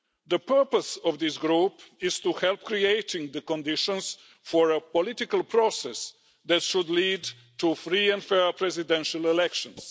The purpose of this group is to help create the conditions for a political process that should lead to free and fair presidential elections.